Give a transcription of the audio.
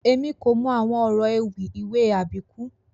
Èmi kò mọ àwọn ọrọ ewì ìwé Àbíkú